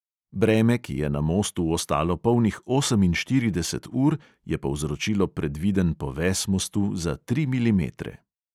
Breme, ki je na mostu ostalo polnih oseminštirideset ur, je povzročilo predviden poves mostu za tri milimetre.